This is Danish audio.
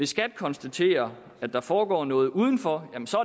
skat konstaterer at der foregår noget udenfor